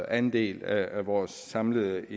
andel af vores samlede